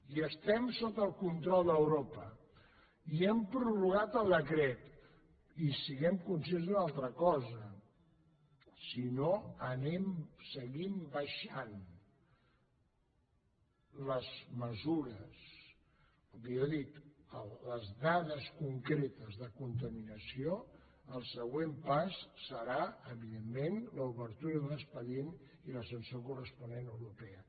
i estem sota el control d’europa i hem prorrogat el decret i siguem conscients d’una altra cosa si no anem seguint abaixant les dades concretes de contaminació el següent pas serà evidentment l’obertura d’un expedient i la sanció corresponent europea